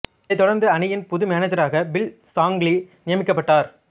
இதை தொடர்ந்து அணியின் புது மேனேஜராக பில் ஷாங்லி நியமிக்கப்பட்டார்